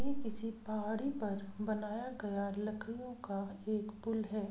यह किसी पहाड़ी पर बनाया गया लकड़ियों का एक पुल है|